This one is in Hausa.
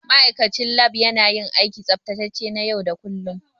Ma'aikacin Lab yana yin aikin tsaftacewa na yau da kullun.